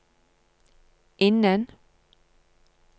innen